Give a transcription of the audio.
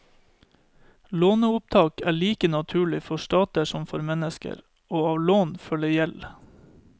Låneopptak er like naturlig for stater som for mennesker, og av lån følger gjeld.